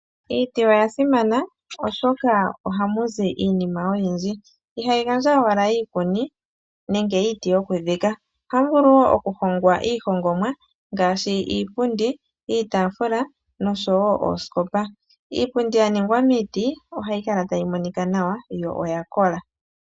Iiti oya simana oshoka ohamu zi iinima oyindji. Ihayi gandja owala iikuni nenge iiti yokudhika. Ohamu vulu wo okuhongwa iihongomwa ngaashi iipundi, iitaafula noshowo oosikopa. Iipundi ya ningwa miiti ohayi kala tayi monika nawa yo oya kola.